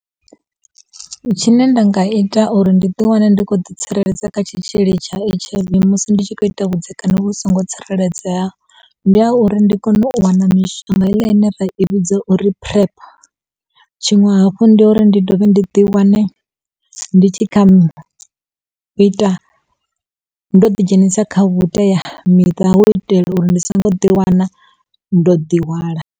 Tshine nda nga ita uri ndi ḓi wane ndi khou ḓi tsireledza kha tshitzhili tsha H_I_V musi ndi tshi kho ita vhudzekani vhu songo tsireledzea ndi ha uri ndi kone u wana mishonga heiḽa ine ra i vhidza uri Prep tshiṅwe hafhu ndi uri ndi dovhe ndi ḓi wane ndi tshi ita ndo ḓi dzhenisa kha vhuteamiṱa hu u itela uri ndi songo ḓi wana ndo ḓihwala.